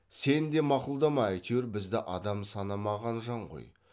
сен де мақұлдама әйтеуір бізді адам санамаған жан ғой